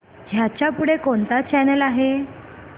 ह्याच्या पुढे कोणता चॅनल आहे